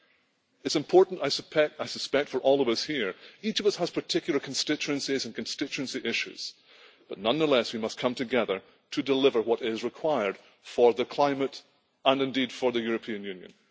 It is important, I suspect, for all of us here each of us has particular constituencies and constituency issues, but nonetheless we must come together to deliver what is required for the climate and indeed for the European Union.